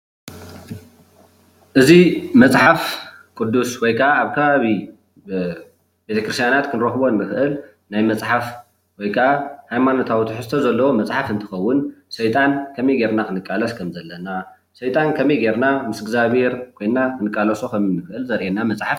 እዚ መፅሓፍ ቁድስ ወይ ከዓ ኣብ ከባቢ ቤተ ክርስትያናት ክንረክቦ እንክእል ናይ መፅሓፍ ወይ ከዓ ሃይማኖታዊ ትሕዝቶ ዘለዎ መፅሓፍ እንትከውን ሰይጣን ከመይ ጌርና ከም ክንቃለስ ከም ዘለና ሰይጣን ምስ እዝጋቤሔር ኮይና ከምእንቃለሶ ዘርእየና መፅሓፍ እዩ፡፡